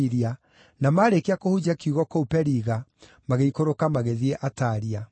na maarĩkia kũhunjia kiugo kũu Periga, magĩikũrũka magĩthiĩ Atalia.